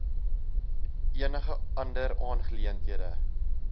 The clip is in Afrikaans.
enige ander aangeleentheid